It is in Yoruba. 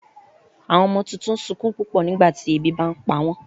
Àwọn ọmọ tuntun n sunkún pupọ nígbàtí ebi bá npa wọn